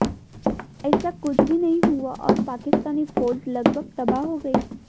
ऐसा कुछ भी नहीं हुआ और पाकिस्तानी फ़ौज लगभग तबाह हो गयी